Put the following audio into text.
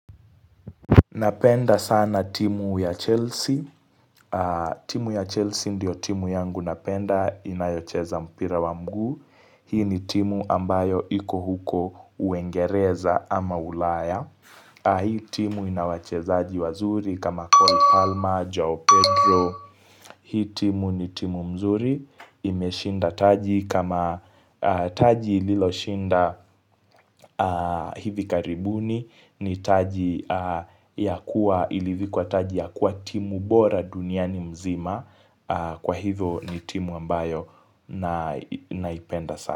Napenda sana timu ya Chelsea. Timu ya Chelsea ndio timu yangu napenda inayocheza mpira wa mguu. Hii ni timu ambayo iko huko uengereza ama ulaya. Hii timu inawache zaaji wazuri kama Cole Palma, Joe Pedro Hii timu ni timu mzuri imeshinda taji kama taji ililo shinda hivi karibuni ni taji ya kuwa ilivikuwa taji ya kuwa timu bora duniani mzima Kwa hivyo ni timu ambayo naipenda sana.